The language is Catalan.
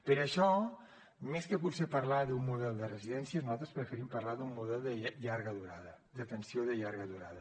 per això més que potser parlar d’un model de residència nosaltres preferim parlar d’un model de llarga durada d’atenció de llarga durada